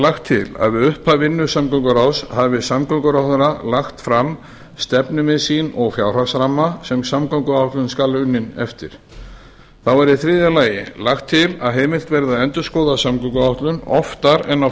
lagt til að við upphaf vinnu samgönguráðs hafi samgönguráðherra lagt fram stefnumið sín og fjárhagsramma sem samgönguáætlun skal unnin eftir í þriðja lagi er lagt til að heimilt verði að endurskoða samgönguáætlun oftar en á